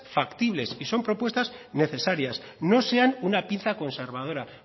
factibles y son propuestas necesarias no sean una pinza conservadora